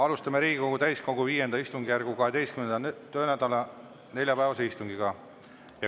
Alustame Riigikogu täiskogu V istungjärgu 12. töönädala neljapäevase istungiga.